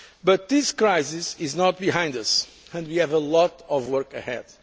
But this crisis is not behind us, and we have a lot of work